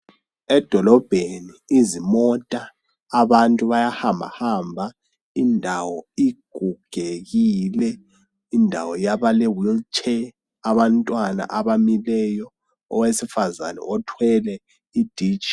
Edolobheni izimota abantu bayahambahamba indawo igugekile. Indawo yabalewheel chair abantwana abamileyo, owesifazana othwele iditshi.